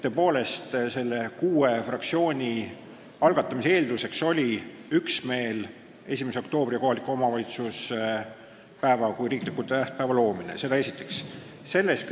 Tõepoolest, selle eelnõu algatamise eelduseks oli kuue fraktsiooni üksmeel 1. oktoobril kohaliku omavalitsuse päeva kui riikliku tähtpäeva loomise küsimuses.